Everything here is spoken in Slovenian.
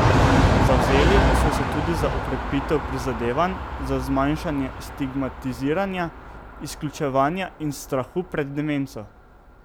Zavzeli so se tudi za okrepitev prizadevanj za zmanjšanje stigmatiziranja, izključevanja in strahu pred demenco.